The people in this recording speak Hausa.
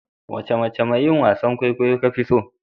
Wani mace mai yin wasan kwaikwayo ka fi so?